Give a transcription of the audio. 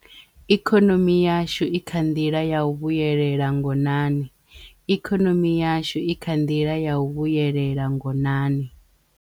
ikonomi yashu i kha nḓila ya u vhuyelela ngonaniikonomi yashu i kha nḓila ya u vhuyelela ngonani